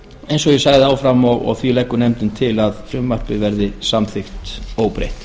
eins og ég sagði áðan og því leggur nefndin til að frumvarpið verði samþykkt óbreytt